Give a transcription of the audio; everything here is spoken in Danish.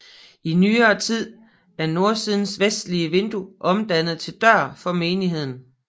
I nyere tid er nordsidens vestligste vindue omdannet til dør for menigheden